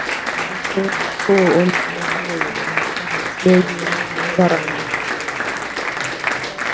а то что он греется как последняя зараза